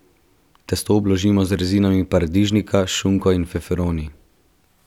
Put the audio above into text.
Testo obložimo z rezinami paradižnika, šunko in feferoni.